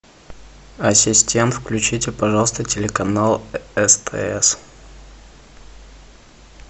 ассистент включите пожалуйста телеканал стс